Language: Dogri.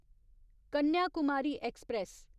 कन्याकुमारी ऐक्सप्रैस